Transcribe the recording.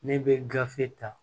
Ne bɛ gafe ta